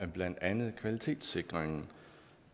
blandt andet kvalitetssikringen